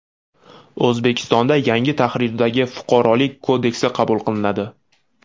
O‘zbekistonda yangi tahrirdagi Fuqarolik kodeksi qabul qilinadi.